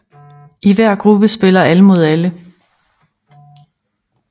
I hver gruppe spiller alle mod alle